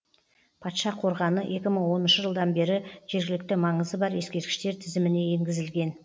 патша қорғаны екі мың оныншы жылдан бері жергілікті маңызы бар ескерткіштер тізіміне енгізілген